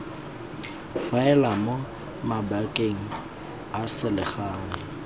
faela mo mabakeng a selegae